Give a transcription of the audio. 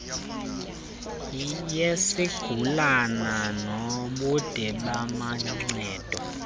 yesigulana nobude bamancedo